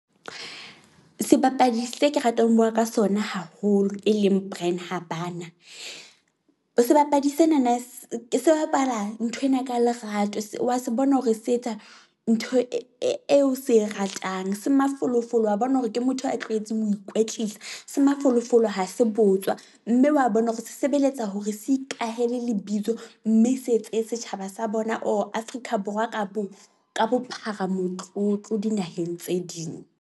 Sebapadi se ke ratang ho bua ka sona haholo e leng Brian Habana. Sebapadi sena na se bapala nthwena ka lerato se wa se bona, hore se etsa ntho e e eo se e ratang. Se mafolofolo wa bona hore ke motho a tlwaetseng ho ikwetlisa. Se mafolofolo ha se botswa, mme wa bona hore se sebeletsa hore se ikahele lebitso mme se etse setjhaba sa bona or Afrika Borwa ka bo ka bophara motlotlo dinaheng tse ding.